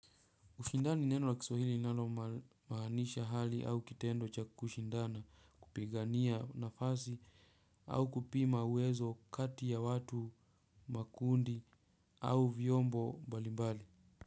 Kushindana, neno la Kiswahili linalomaanisha hali au kitendo cha kushindana, kupigania nafasi. Au kupima uwezo kati ya watu, makundi au vyombo mbalimbali.